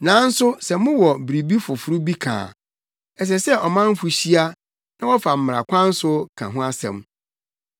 Nanso sɛ mowɔ biribi foforo bi ka a, ɛsɛ sɛ ɔmanfo hyia na wɔfa mmara kwan so ka ho asɛm.